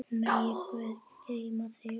Megi Guð geyma þig.